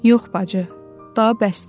Yox, bacı, daha bəsdir.